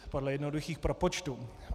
Podle jednoduchých propočtů.